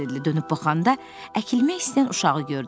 Dönüb baxanda əkilmək istəyən uşağı gördü.